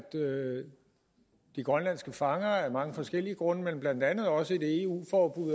de grønlandske fangere af mange forskellige grunde men blandt andet også et eu